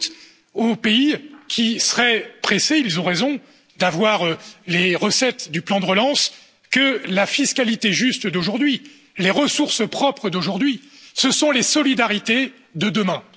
J'ajoute, pour les pays qui seraient pressés et ils ont raison d'avoir les recettes du plan de relance, que la fiscalité juste d'aujourd'hui, les ressources propres d'aujourd'hui, ce sont les solidarités de demain.